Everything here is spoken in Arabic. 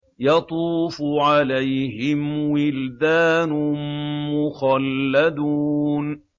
يَطُوفُ عَلَيْهِمْ وِلْدَانٌ مُّخَلَّدُونَ